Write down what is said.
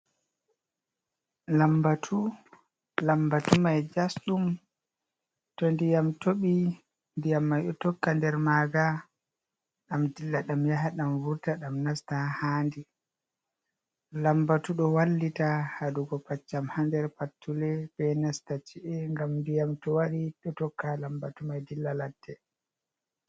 Lambatu mai jasdum to ndiyam tobi nɗiyam mai ɗo tokka nder maga dam dilla ɗam yaha ɗam vurta ɗam nasta ha handi, lambatu do wallita hadugo paccam ha nder pattule be nasta ci’e ngam nɗiyam to wari ɗo tokka lambatu mai dilla ladde.